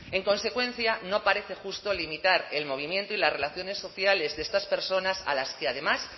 en consecuencia no parece justo a limitar el movimiento y las relaciones sociales de estas personas a las que además